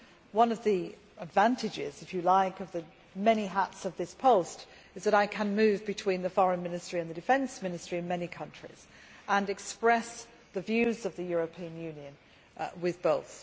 One of the advantages, if you like, of the many hats I wear in this post is that I can move between the Foreign Ministry and the Defence Ministry in many countries and can express the views of the European Union with both.